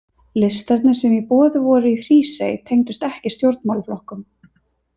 Listarnir sem í boði voru í Hrísey tengdust ekki stjórnmálaflokkum.